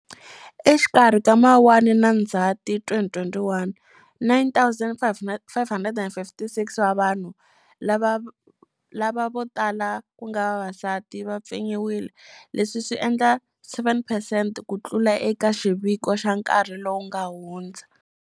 Exikarhi ka Mawuwani na Ndzati 2021, 9 556 wa vanhu, lava votala ku nga vavasati, va pfinyiwile. Leswi swi endla 7 percent ku tlula eka xiviko xa nkarhi lowu nga hundza.